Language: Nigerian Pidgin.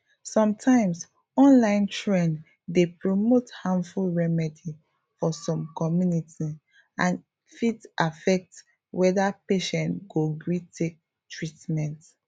sometimes online trend dey promote harmful remedy for some community and e fit affect whether patient go gree take treatment